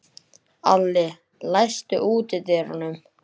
Alli, læstu útidyrunum.